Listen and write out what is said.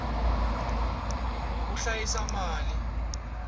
ku hlayisa mali